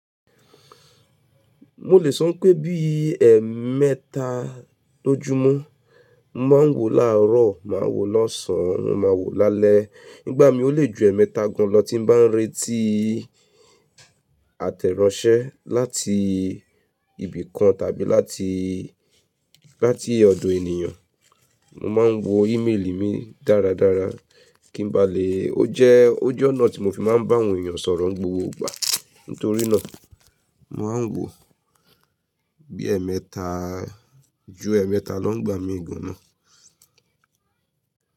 Mo lè sọ pé bíi ẹmẹ́ta lójúmọ́, mo máa ń wò láàárọ̀, màá wò lọ́sàn án, mo ma wò lálẹ́. Nígbàmi ó lè ju ẹmẹta gan lọ tí n bá ń retii àtẹ̀ráńṣẹ́ láti ibì kan tàbí láti, láti ọ̀dọ̀ ènìyàn. Mo ma ń wo ìmeèlì mi dáradára kí n ba lè Ó jẹ́, ó jẹ́ ọ̀nà tí mo fi má ń bá àwọn èyàn sọ̀rọ̀ n gbogboogbà. Nítorí náà, mo ma ń wò bí ẹmẹ́ta, ju ẹmẹta lọ nígbà mi gànná.